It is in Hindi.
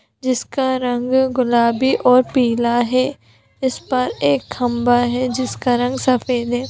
जिसका रंग गुलाबी और पीला है इस पर एक खंभा है जिसका रंग सफेद है।